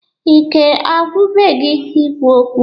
Ike agwụbe gi ikwu okwu?